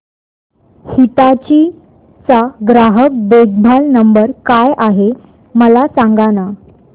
हिताची चा ग्राहक देखभाल नंबर काय आहे मला सांगाना